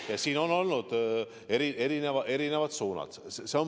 Ja siin on olnud erinevad suunad.